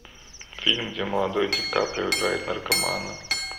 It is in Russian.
фильм где молодой ди каприо играет наркомана